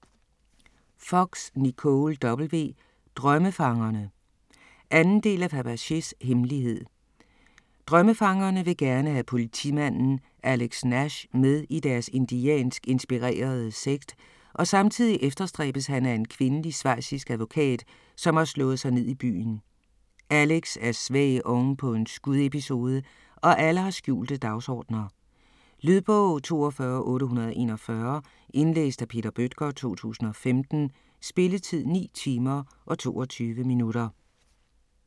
Fox, Nicole W.: Drømmefangerne 2. del af Fabergés hemmelighed. Drømmefangerne vil gerne have politimanden Alex Nash med i deres indiansk inspirerede sekt, og samtidig efterstræbes han af en kvindelig schweizisk advokat, som har slået sig ned i byen. Alex er svag ovenpå en skudepisode, og alle har skjulte dagsordener. Lydbog 42841 Indlæst af Peter Bøttger, 2015. Spilletid: 9 timer, 22 minutter.